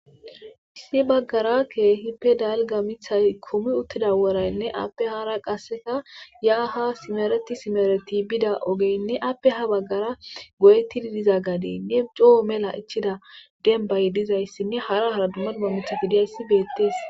Issi bagara keehipe dalga mithay kumiwuthida worayne aape haara kaseka ya ha simereti simereti bida ogene aape ha bagara goyetidi diza gadene coo mela ichiza dembay dizaysine hara hara duma duma mithati dizaysi beetes.